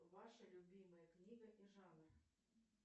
ваша любимая книга и жанр